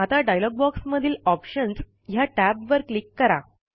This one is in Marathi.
आता डायलॉग बॉक्स मधील ऑप्शन्स ह्या टॅबवर क्लिक करा